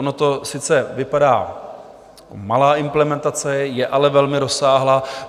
Ono to sice vypadá, malá implementace, je ale velmi rozsáhlá.